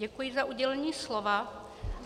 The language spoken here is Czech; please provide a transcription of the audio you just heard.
Děkuji za udělení slova.